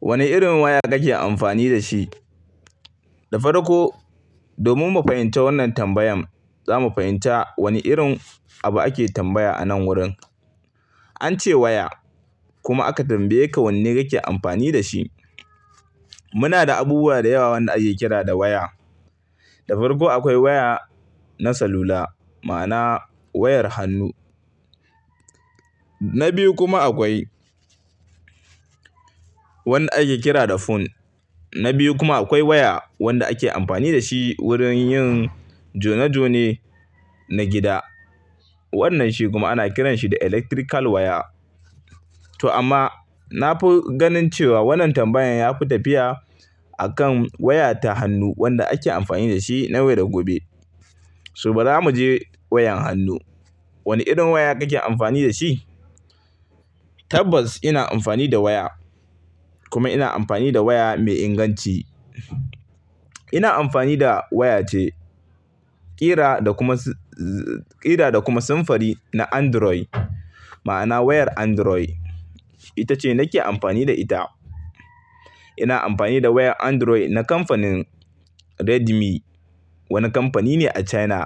Wane irin waya kake amfani da shi? Da farko, domin mu fahimci wannan tambayan, za mu fahimci wane irin abu ake tambaya a nan wurin. An ce waya, kuma aka tambaye ka wanne kake amfani da shi. Muna da abubuwa da yawa wanda ake kira da waya. Da farko akwai waya na salula, ma'ana wayar hannu. Na biyu kuma akwai wanda ake kira da phone. Na biyu kuma akwai waya wanda ake amfani da shi wurin yin jone-jone na gida. Wannan shi kuma ana kiran shi da electrical waya. To amma nafi ganin cewa wannan tambayan ya fi tafiya akan waya ta hannu wanda ake amfani da shi na waye da gobe. Su bari mu je wayan hannu. Wane irin waya kake amfani da shi? Tabbas ina amfani da waya, kuma ina amfani da waya mai inganci. Ina amfani da waya ce, ƙira da kuma samfari na Android, ma'ana wayar Android. Ita ce nake amfani da ita. Ina amfani da wayar Android na kamfanin Redmi, wani kamfani ne a China,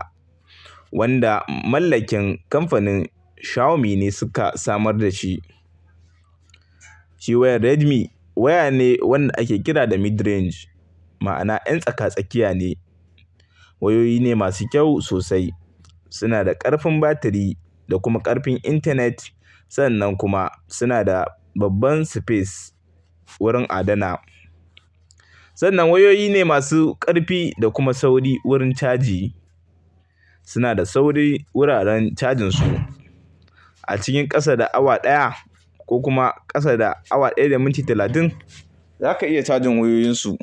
wanda mallakin kamfanin Xiaomi ne suka samar da shi. Shi wayar Redmi waya ne wanda ake kira da mid-range, ma'ana yan tsaka-tsakiya ne. Wayoyi ne masu kyau sosai. Suna da ƙarfin batiri da kuma ƙarfin intanet. Sannan kuma suna da babban space wurin adana. Sannan wayoyi ne masu ƙarfi da kuma sauri wurin caji. Suna da sauri wuraren cajin su. A cikin ƙasa da awa ɗaya ko kuma ƙasa da awa ɗaya da minti talatin, za ka iya cajin wayoyinsu.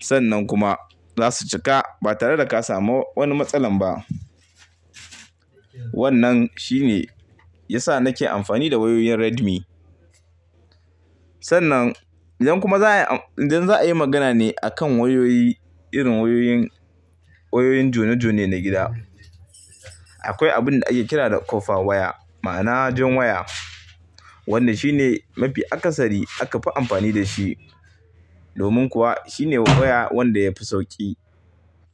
Sannan kuma za su cika ba tare da ka samu wani matsala ba. Wannnan shi ne ya sa nake amfani da wayoyin Redmi. Sannan yanzu kuma za'a yi magana ne a kan wayoyi, irin wayoyin jone-jone na gida. Akwai abun da ake kira da copper waya, ma'ana jan waya, wanda shi ne mafi akasari aka fi amfani da shi. Domin kuwa shi ne waya wanda ya fi sauƙi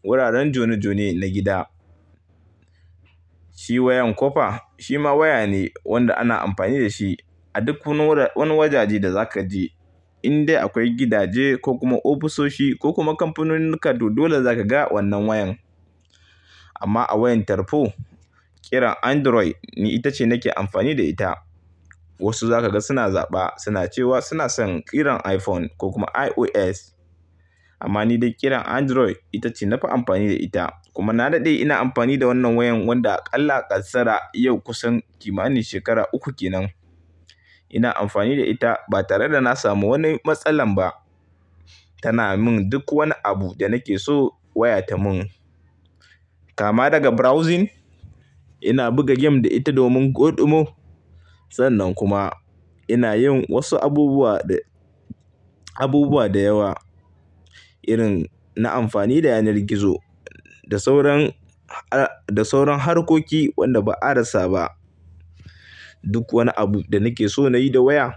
wuraren jone-jone na gida. Shi wayan copper shi ma waya ne wanda ana amfani da shi a duk wani wajaje da zaka je. Indai akwai gidaje ko kuma ofisoshi ko kuma kamfanonin kado dole za ka ga wannan wayan. Amma a wayan tarfo, ƙiran Android ita ce nake amfani da ita. Wasu za ka ga suna zaɓa, suna cewa suna son ƙiran iPhone ko kuma iOS. Amma ni dai ƙiran Android ita ce na fi amfani da ita. Kuma na daɗe ina amfani da wannan wayan wanda a ƙalla ƙasara yau kusan kimanin shekara uku kenan. Ina amfani da ita ba tare da na samu wani matsala ba. Tana min duk wani abu da nake so waya ta mun. Kama daga browsing, ina buga game da ita domin goɗimo. Sannan kuma ina yin wasu abubuwa, abubuwa da yawa. Irin na amfani da yanar gizo da sauran, da sauran harkoki wanda ba a rasa ba. Duk wani abu da nake so nayi da waya,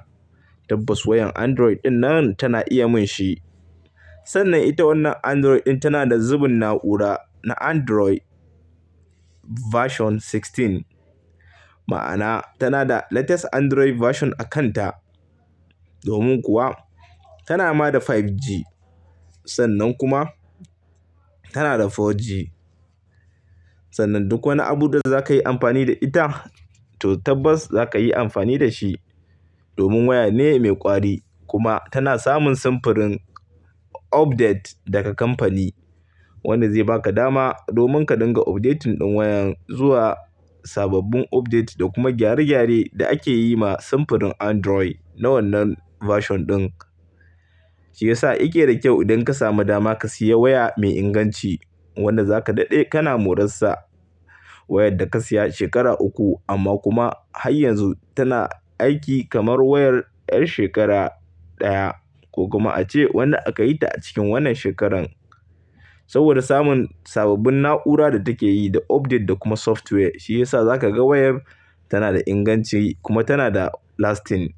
tabbas wayan Android dinnan tana iya mun shi. Sannan ita wannan Android dinnan tana da zubun na'ura na Android version sixteen. Ma'ana tana da latest Android version a kanta. Domin kuwa tana ma da 5G. Sannan kuma tana da 4G. Sannan duk wani abu da za ka yi amfani da ita, to tabbas za ka yi amfani da shi. Domin waya ne mai ƙwari kuma tana samun samfurin update daga kamfani. Wanda zai ba ka dama domin ka dinga updating ɗin wayan zuwa sababbin update da kuma gyare-gyare da ake yi ma samfurin Android na wannan version ɗin. Shi ya sa yake da kyau idan ka samu dama ka siya waya mai inganci wanda za ka daɗe kana moransa. Wayar da ka siya shekara uku amma kuma har yanzu tana aiki kamar wayar 'yar shekara ɗaya ko kuma ace wanda aka yi ta a cikin wannan shekaran. Saboda samun sababbin na'ura da take yi da update da kuma software shi ya sa za ka ga wayar tana da inganci kuma tana da lasting.